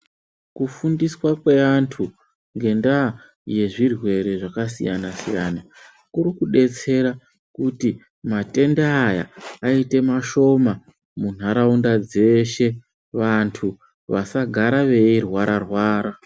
Kufundiswa kweantu ngendaa yezvirwere zvakasiyana -siyana kurikudetsera kuti matenda aya aite mashoma munharaunda dzeshe vantu vasagara veirwara-rwara.